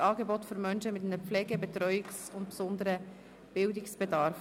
Angebote für Menschen mit einem Pflege-, Betreuungs- und besonderen Bildungsbedarf.